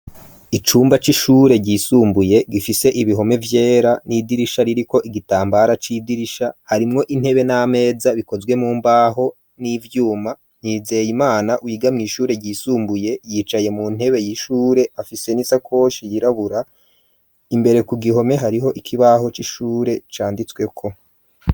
Icumba c'ishure ryisumbuye gifise ibihome vyera ,n'idirisha ririko igitambara c'idirisha ,harimwo intebe ,n'ameza bikozwe mu mbaho n'ivyuma, Nizeyimana wigamye ishure ryisumbuye ,yicaye mu ntebe y'ishure, afise n'isakoshi yirabura, imbere ku gihome hariho ikibaho c'ishure canditsweko.